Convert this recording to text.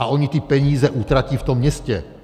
A oni ty peníze utratí v tom městě.